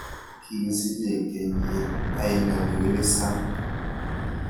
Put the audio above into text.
Kigisiche kenyint ainon willy sang